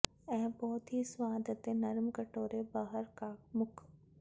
ਇਹ ਬਹੁਤ ਹੀ ਸਵਾਦ ਅਤੇ ਨਰਮ ਕਟੋਰੇ ਬਾਹਰ ਕਾਮੁਕ